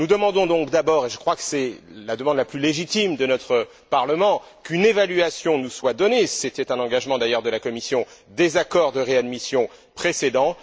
Nous demandons donc d'abord et je crois que c'est la demande la plus légitime de notre Parlement qu'une évaluation nous soit donnée c'était un engagement, d'ailleurs, de la Commission des accords de réadmission précédents.